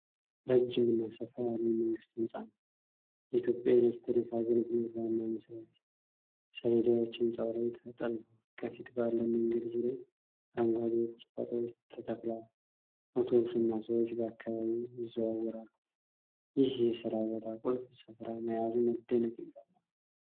ረጅምና ሰፋ ያለ የመንግስት ህንፃ ነው። የኢትዮጵያ ኤሌክትሪክ አገልግሎት ዋና መስሪያ ቤት ሰሌዳዎች ሕንፃው ላይ ተለጥፈዋል። ከፊት ባለው መንገድ ዙሪያ አረንጓዴ ቁጥቋጦዎች ተተክለዋል። አውቶቡስና ሰዎች በአካባቢው ይዘዋወራሉ። ይህ የስራ ቦታ ቁልፍ ስፍራ መያዙ መደነቅን ይፈጥራል።